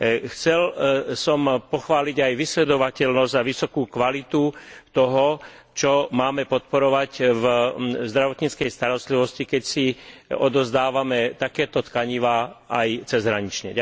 Chcel som pochváliť aj vysledovateľnosť a vysokú kvalitu toho, čo máme podporovať v zdravotníckej starostlivosti, keď si odovzdávame takéto tkanivá aj cezhranične.